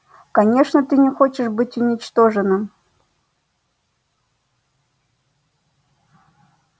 конечно ты не хочешь быть уничтоженным